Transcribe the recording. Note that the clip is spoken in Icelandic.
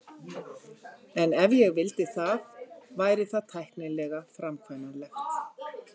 En ef ég vildi það, væri það tæknilega framkvæmanlegt.